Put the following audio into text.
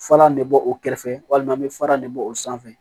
Falan de bɔ o kɛrɛfɛ walima an bɛ fara de bɔ o sanfɛ